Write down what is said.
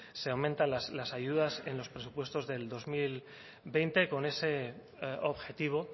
se aumentan las ayudas en los presupuestos del dos mil veinte con ese objetivo